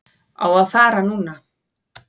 Á að fara núna.